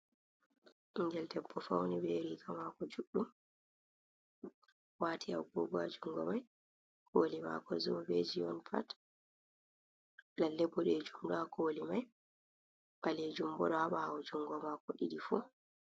Ɓingel debbo fauni be riga maako juɗɗum, waati agogo ha jungo mai. Koli maako zobeji on pat lalle bude jumdu a koli mai bale jumbura bawo jungo mako didi fu